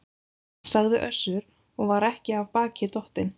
sagði Össur og var ekki af baki dottinn.